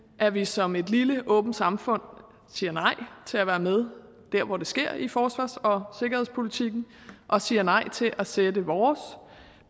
at vi som et lille åbent samfund siger nej til at være med dér hvor det sker i forsvars og sikkerhedspolitikken og siger nej til at sætte vores